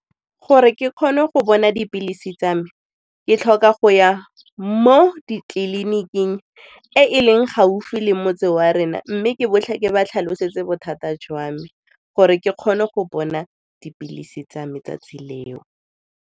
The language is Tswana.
Gore ke kgone go bona dipilisi tsa me, ke tlhoka go ya mo ditleliniking e e leng gaufi le motse wa rena mme ke ba tlhalosetse bothata jwa me gore ke kgone go bona dipilisi tsa 'tsatsi leo.